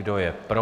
Kdo je pro?